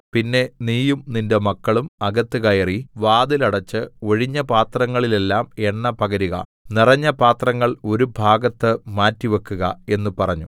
പിന്നെ നീയും നിന്റെ മക്കളും അകത്ത് കയറി വാതിൽ അടച്ച് ഒഴിഞ്ഞ പാത്രങ്ങളിലെല്ലാം എണ്ണ പകരുക നിറഞ്ഞ പാത്രങ്ങൾ ഒരു ഭാഗത്തുമാറ്റിവക്കുക എന്ന് പറഞ്ഞു